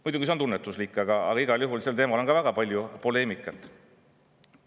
Muidugi, see on tunnetuslik, aga igal juhul on sel teemal väga palju poleemikat.